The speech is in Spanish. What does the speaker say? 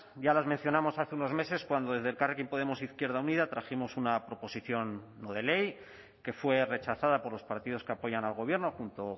ya las mencionamos hace unos meses cuando desde elkarrekin podemos izquierda unida trajimos una proposición no de ley que fue rechazada por los partidos que apoyan al gobierno junto